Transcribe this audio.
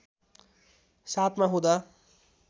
७ मा हुँदा